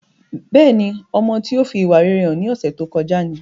Bẹ́ẹ̀ni ọmọ tí ó fi ìwà rere hàn ní ọsẹ tó kọjá ni